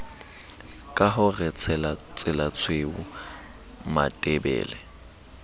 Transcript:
ka ho re tselatshweu matebele